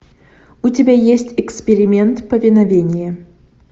у тебя есть эксперимент повиновение